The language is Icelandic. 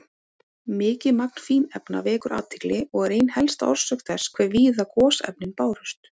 Mikið magn fínefna vekur athygli og er ein helsta orsök þess hve víða gosefnin bárust.